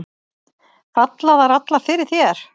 Falla þær allar fyrir þér?